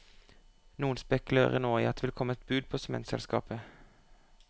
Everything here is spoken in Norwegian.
Noen spekulerer nå i at det vil komme et bud på sementselskapet.